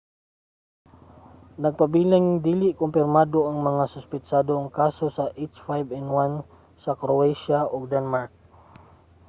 nagpabiling dili kumpirmado ang mga suspetsadong kaso sa h5n1 sa croatia ug denmark